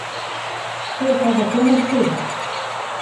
Se je pa zato Mercedes.